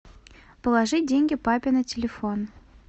положи деньги папе на телефон